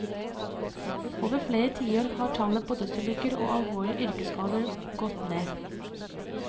Over flere tiår har tallet på dødsulykker og alvorlige yrkesskader gått ned.